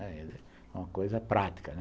É uma coisa prática, né.